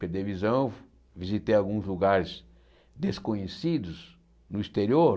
Perdi a visão, visitei alguns lugares desconhecidos no exterior.